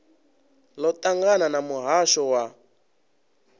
ḽo ṱangana na muhasho wa